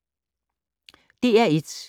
DR1